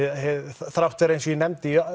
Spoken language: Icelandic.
þrátt fyrir eins og ég nefndi